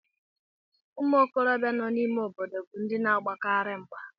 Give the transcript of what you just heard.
Ụmụ okorobịa nọ n'ime obodo bụ ndị na-agbakarị mgba